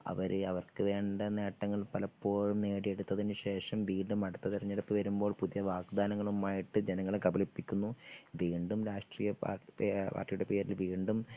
അവര് അവർക്കുവേണ്ട നേട്ടങ്ങൾ പലപ്പോഴും നേടിയെടുത്തതിനുശേഷം വീണ്ടും അടുത്ത തിരഞ്ഞെടുപ്പ് വരുമ്പോൾ പുതിയ വാഗ്ദാനങ്ങളുമായിട്ട് ജനങ്ങളെ കബളിപ്പിക്കുന്നു വീണ്ടും രാഷ്ട്രീയ പാർട്ടി പാർട്ടിയുടെ പേരിൽ വീണ്ടും